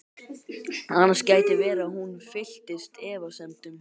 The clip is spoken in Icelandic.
Annars gæti verið að hún fylltist efasemdum.